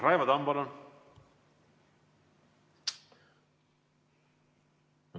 Raivo Tamm, palun!